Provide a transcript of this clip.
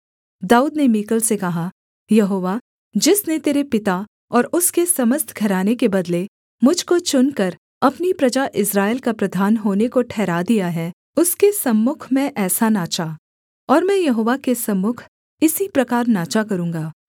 दाऊद ने मीकल से कहा यहोवा जिसने तेरे पिता और उसके समस्त घराने के बदले मुझ को चुनकर अपनी प्रजा इस्राएल का प्रधान होने को ठहरा दिया है उसके सम्मुख मैं ऐसा नाचाऔर मैं यहोवा के सम्मुख इसी प्रकार नाचा करूँगा